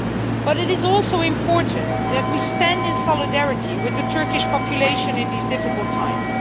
But it is also important that we stand in solidarity with the Turkish population in these difficult times.